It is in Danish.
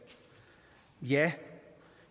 ja